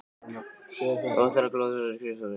Þú ætlar þó ekki að loka þessari skrifstofu?